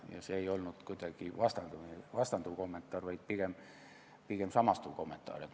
See ei olnud kuidagi vastanduv kommentaar, vaid pigem samastuv kommentaar.